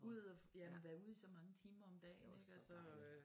Ud og ja være ude i så mange timer om dagen ik altså